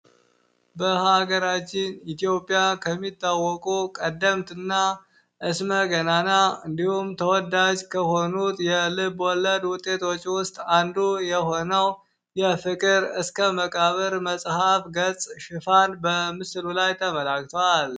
በሀገራችን ኢትዮጵያ ከሚታወቁ ቀደምትና ስመ ገናና እንዲሁም ፤ ተወዳጅ ከሆኑት የ ልብወለድ ውጤቶች ውስጥ አንዱ የሆነው ፍቅር እስከ መቃብር መጽሐፍ ገጽ ሽፋን በምስሉ ላይ የተመላክቷል።